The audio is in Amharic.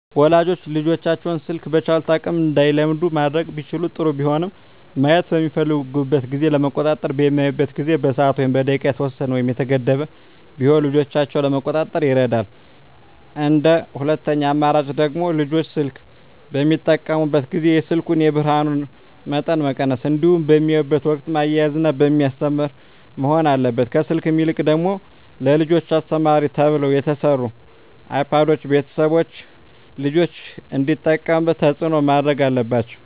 ወላጆች ልጆቻቸውን ስልክ በቻሉት አቅም እንዳይለምዱ ማድረግ ቢችሉ ጥሩ ቢሆንም ማየት በሚፈልጉበት ጊዜ ለመቆጣጠር በሚያዩበት ጊዜ በሰዓት ወይም በደቂቃ የተወሰነ ወይም የተገደበ ቢሆን ልጆችን ለመቆጣጠር ይረዳል እንደ ሁለተኛ አማራጭ ደግሞ ልጆች ስልክ በሚጠቀሙበት ጊዜ የስልኩን የብርሀኑን መጠን መቀነስ እንዲሁም በሚያዩበት ወቅትም እያዝናና በሚያስተምር መሆን አለበት ከስልክ ይልቅ ደግሞ ለልጆች አስተማሪ ተብለው የተሰሩ አይፓዶችን ቤተሰቦች ልጆች እንዲጠቀሙት ተፅዕኖ ማድረግ አለባቸው።